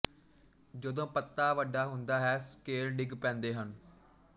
ਜਦੋਂ ਪੱਤਾ ਵੱਡਾ ਹੁੰਦਾ ਹੈ ਸਕੇਲ ਡਿਗ ਪੈਂਦੇ ਹਨ